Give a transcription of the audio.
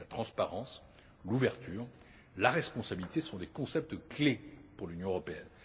La transparence, l'ouverture, la responsabilité sont des concepts clés pour l'Union européenne.